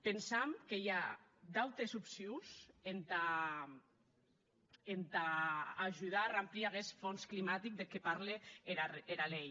pensam que i a d’autes opcions entà ajudar a ramplir aguest hons climatic deth que parle era lei